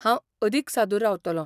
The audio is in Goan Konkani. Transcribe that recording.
हांव अदीक सादूर रावतलों.